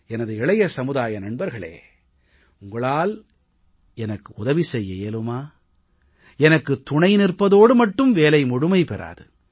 எனது இளைய சமுதாய நண்பர்களே உங்களால் எனக்கு உதவி செய்ய இயலுமா எனக்கு துணை நிற்பதோடு மட்டும் வேலை முழுமை பெறாது